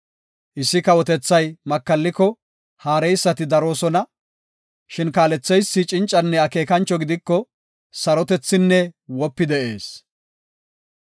Issi kawotethay makalliko, haareysati daroosona; shin kaaletheysi cincanne akeekancho gidiko, sarotethinne wopi de7ees.